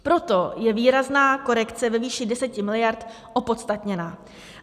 Proto je výrazná korekce ve výši 10 miliard opodstatněná.